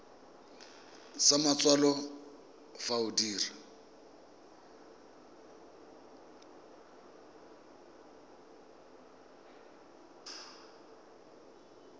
sa matsalo fa o dira